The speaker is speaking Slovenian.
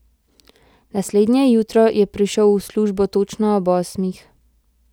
Naslednje jutro je prišel v službo točno ob osmih.